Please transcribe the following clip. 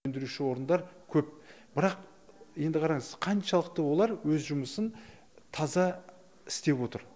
өндіруші орындар көп бірақ енді қараңыз қаншалықты олар өз жұмысын таза істеп отыр